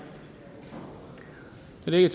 da det ikke